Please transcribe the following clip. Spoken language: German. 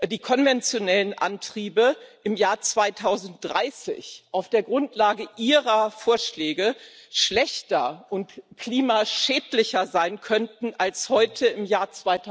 die konventionellen Antriebe im Jahr 2030 auf der Grundlage Ihrer Vorschläge schlechter und klimaschädlicher sein könnten als heute im Jahr